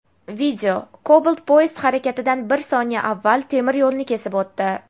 Video: Cobalt poyezd harakatidan bir soniya avval temir yo‘lni kesib o‘tdi.